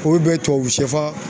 Olu bɛ tubabu sɛfan